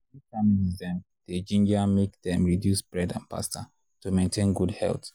make families dem dey ginger make dem reduce bread and pasta to maintain good health.